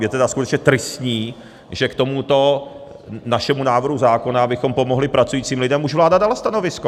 Je tedy skutečně tristní, že k tomuto našemu návrhu zákona, abychom pomohli pracujícím lidem, už vláda dala stanovisko.